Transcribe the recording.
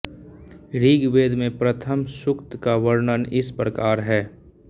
ऋग्वेद में प्रथम सूक्त का वर्णन इस प्रकार है